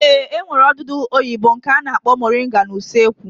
Ee, e nwere odudu oyibo nke a na-akpọ moringa n'usekwu